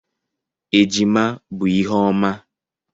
Ejima bụ ihe ọma.